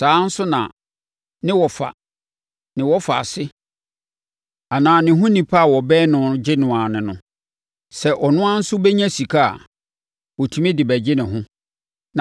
Saa ara nso na ne wɔfa, ne wɔfaase anaa ne ho onipa bi a ɔbɛn no tumi gye no ara ne no. Sɛ ɔno ara nso bɛnya sika a, ɔtumi de bɛgye ne ho.